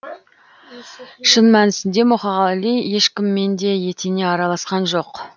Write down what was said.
шын мәнісінде мұқағали ешкіммен де етене араласқан жоқ